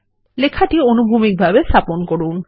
লেখাটি অনুভূমিকভাবে স্থাপন করুন